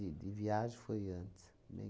de de viagem foi antes, bem